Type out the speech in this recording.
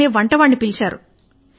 రాజుగారు వంటవాడిని పిలిచారు